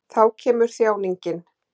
Þá kemur þjáningin.